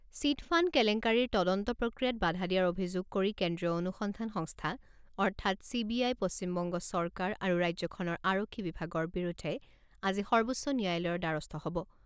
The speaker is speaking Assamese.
চিটফাণ্ড কেলেংকাৰিৰ তদন্ত প্ৰক্ৰিয়াত বাধা দিয়াৰ অভিযোগ কৰি কেন্দ্ৰীয় অনুসন্ধান সংস্থা অৰ্থাৎ চি বি আই পশ্চিমবংগ চৰকাৰ আৰু ৰাজ্যখনৰ আৰক্ষী বিভাগৰ বিৰুদ্ধে আজি সৰ্বোচ্চ ন্যায়ালয়ৰ দ্বাৰস্থ হ'ব।